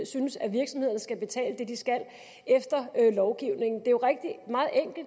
synes at virksomhederne skal betale det de skal efter lovgivningen